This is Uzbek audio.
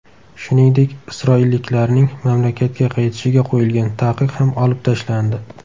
Shuningdek, isroilliklarning mamlakatga qaytishiga qo‘yilgan taqiq ham olib tashlandi.